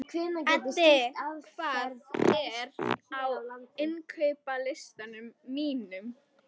Eddi, hvað er á innkaupalistanum mínum?